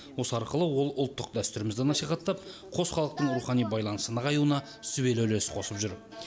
осы арқылы ол ұлттық дәстүрімізді насихаттап қос халықтың рухани байланысы нығаюына сүбелі үлес қосып жүр